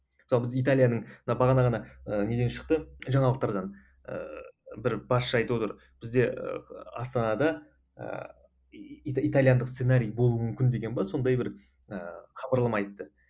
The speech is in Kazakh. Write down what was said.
мысалы біз италияның бағана ғана неден шықты жаңалықтардан ыыы бір басшы айтып отыр бізде астанада ыыы италиялық сценарий болуы мүмкін деген бе сондай бір ыыы хабарлама айтты